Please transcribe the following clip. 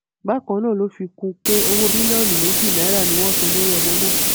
bákan náà ló fi kún un pé owó mílíọnù méjì náírà ni wọn san lórí ọmọ náà